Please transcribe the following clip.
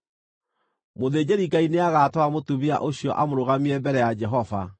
“ ‘Mũthĩnjĩri-Ngai nĩagatwara mũtumia ũcio amũrũgamie mbere ya Jehova.